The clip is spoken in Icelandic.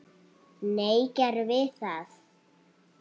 Nei, gerðum við það?